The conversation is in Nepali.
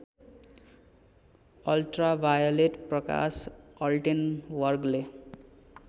अल्ट्रावायलेट प्रकाश अल्टेनवर्गले